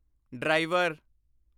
driver